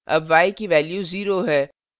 अब y की value 0 है